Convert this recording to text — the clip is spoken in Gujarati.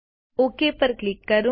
ઓક પર ક્લિક કરો